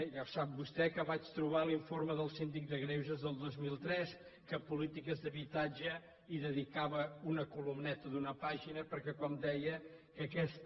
ja ho sap vostè que vaig trobar l’informe del síndic de greuges del dos mil tres que a polítiques d’habitatges hi dedicava una columneta d’una pàgina perquè com deia aquesta